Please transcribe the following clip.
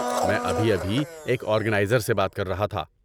میں ابھی ابھی ایک آرگنائزر سے بات کر رہا تھا۔